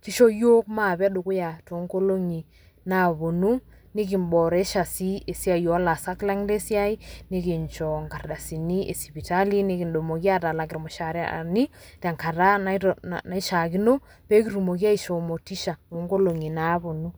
kisho yiook mashomi dukuya too nkolongi naponu , nikimboresha sii esiai olaasak lang le siai , nikincho nkardasini e sipitali, nikitumoki atalak irmushaarani tenkata naishiaakino, peekitumoki aishoo motisha oonkolongi naaponu .